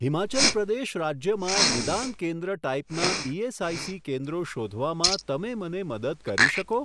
હિમાચલ પ્રદેશ રાજ્યમાં નિદાન કેન્દ્ર ટાઈપનાં ઇએસઆઇસી કેન્દ્રો શોધવામાં તમે મને મદદ કરી શકો?